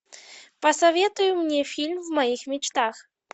посоветуй мне фильм в моих мечтах